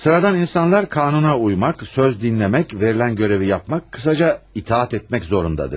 Sıradan insanlar qanuna uymaq, söz dinləmək, verilən görevi yapmaq, qısaca itaət etmək zorundadır.